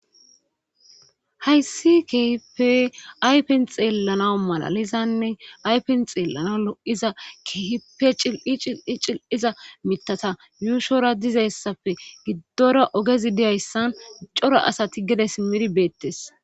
hayssi kehipe aypen xeellana malalizanne aypen xeellana lo7iza kehipe cil7i cil7i cil7iza mitata yuushora dizayssapfe giddora ogezi diyayssan coro asati gede simir beettes